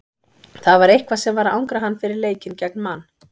Það var eitthvað sem var að angra hann fyrir leikinn gegn Man.